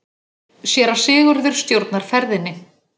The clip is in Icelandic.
Séra Sigurður stjórnar ferðinni.